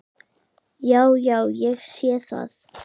Já, já. ég sé það.